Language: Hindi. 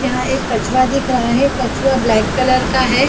यहाँ एक कछुआ दिख रहा हैकछुआ ब्लैक कलर का है।